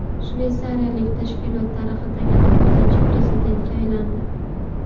Shveysariyalik tashkilot tarixidagi to‘qqizinchi prezidentga aylandi.